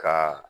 Ka